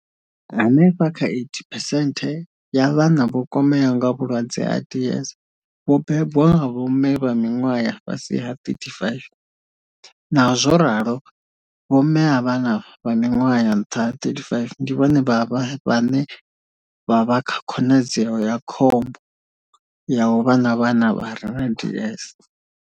Hanefha kha 80 phesenthe ya vhana vho kwameaho nga vhulwadze ha DS vho bebwa nga vho mme vha miṅwaha ya fhasi ha 35, naho zwo ralo vho mme a vhana vha miṅwaha ya nṱha ha 35 ndi vhone vhane vha vha kha khonadzeo ya khombo ya u vha na vhana vha re na DS.